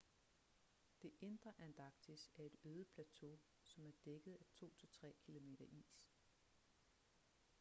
det indre antarktis er et øde plateau som er dækket af 2-3 km is